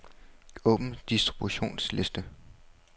Åbn distributionsliste.